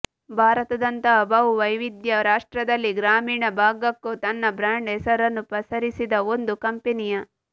ಭಾರತದಂತಹ ಬಹು ವೈವಿಧ್ಯ ರಾಷ್ಟ್ರದಲ್ಲಿ ಗ್ರಾಮೀಣ ಭಾಗಕ್ಕೂ ತನ್ನ ಬ್ರಾಂಡ್ ಹೆಸರನ್ನೂ ಪಸರಿಸಿದ ಒಂದು ಕಂಪನಿಯ